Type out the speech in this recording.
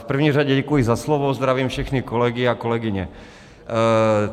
V první řadě děkuji za slovo, zdravím všechny kolegy a kolegyně.